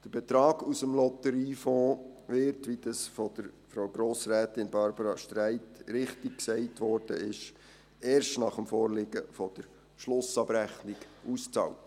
Der Betrag aus dem Lotteriefonds wird – wie das von Grossrätin Barbara Streit richtig gesagt wurde – erst nach Vorliegen der Schlussabrechnung ausbezahlt.